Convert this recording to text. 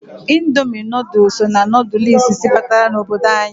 Indomi nodulu so na nodulu isisi batara n'obodo anyị.